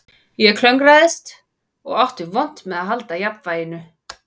Ég klöngraðist og átti vont með að halda jafnvæginu